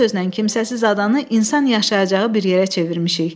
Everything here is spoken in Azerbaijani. Bir sözlə kimsəsiz adanı insan yaşayacağı bir yerə çevirmişik.